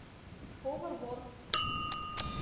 повар вор